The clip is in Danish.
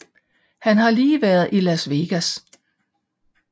Han har lige været i Las Vegas